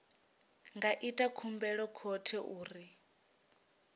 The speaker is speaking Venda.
nga ita khumbelo khothe uri